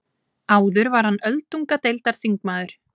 Áður var hann öldungadeildarþingmaður